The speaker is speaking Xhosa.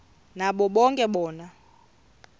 nabo ke bona